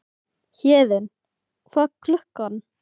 Héðinn, hvað er klukkan?